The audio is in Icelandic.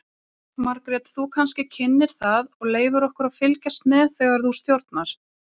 Margrét þú kannski kynnir það og leyfir okkur að fylgjast með þegar þú stjórnar?